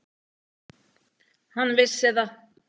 Hann vissi það.